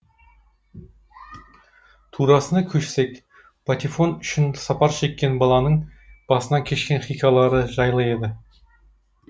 турасына көшсек патефон үшін сапар шекен баланың басынан кешкен хикаялары жайлы еді